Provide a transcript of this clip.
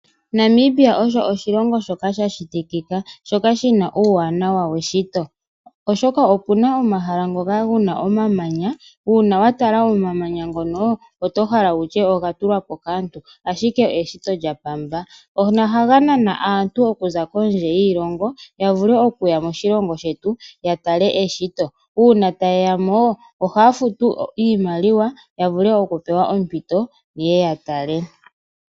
Namibia osho oshilongo shoka sha shitikika, shoka shi na uuwanawa weshito, oshoka pu na omahala ngoka gena omamanya. Uuna wa tala omamanya ngono oto hala wutye oga tulwapo kaantu, ashike eshito lya Pamba. Ano ohaga nana aantu okuza kondje yiilongo ya vule okuya moshilongo shetu, ya tale eshito. Uuna taye ya mo ohaya futu iimaliwa ya vule okupewa ompito ye ye ya tale.